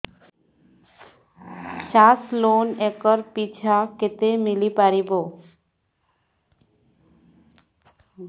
ଚାଷ loan acre ପିଛା କେତେ ମିଳି ପାରିବ